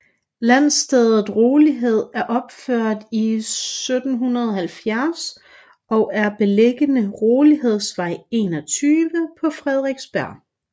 Landstedet Rolighed er opført i 1770 og er beliggende Rolighedsvej 21 på Frederiksberg